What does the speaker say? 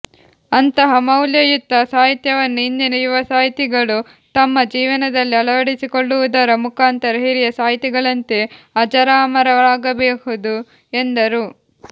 ಅಂತಹ ಮೌಲ್ಯಯುತ ಸಾಹಿತ್ಯವನ್ನು ಇಂದಿನ ಯುವ ಸಾಹಿತಿಗಳು ತಮ್ಮ ಜೀವನದಲ್ಲಿ ಅಳವಡಿಸಿಕೊಳ್ಳುವುದರ ಮುಖಾಂತರ ಹಿರಿಯ ಸಾಹಿತಿಗಳಂತೆ ಅಜರಾಮರಾಗಬಹುದು ಎಂದರು